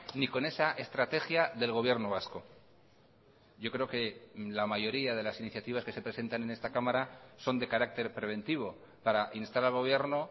ni con esa estrategia del gobierno vasco yo creo que la mayoría de las iniciativas que se presentan en esta cámara son de carácter preventivo para instar al gobierno